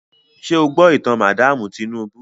Ṣé o gbọ́ ìtàn madaamu Tinúbú?